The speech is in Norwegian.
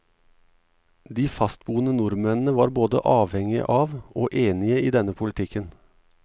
De fastboende nordmennene var både avhengige av, og enige i denne politikken.